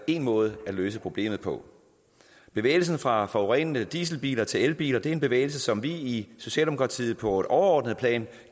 en måde at løse problemet på bevægelsen fra forurenende dieselbiler til elbiler er en bevægelse som vi i socialdemokratiet på et overordnet plan